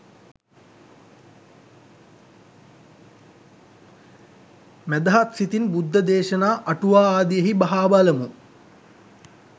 මැදහත් සිතින් බුද්ධ දේශනා, අටුවා ආදියෙහි බහා බලමු.